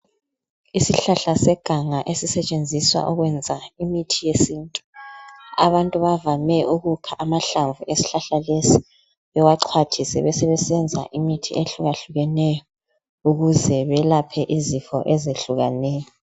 Isihlahla seganga esisetshenziswa ukwenza imithi yesintu. Abantu bavame ukukha amahlamvu esihlahla lesi bewaxhwathise. Besebesenza imithi ehlukahlukeneyo ,ukuze belaphe izifo ezehlukeneyo.